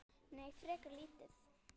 Nei, frekar lítið.